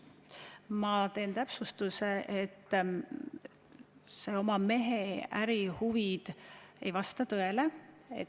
Kõigepealt teen täpsustuse, et see oma mehe ärihuvide kaitsmine ei vasta tõele.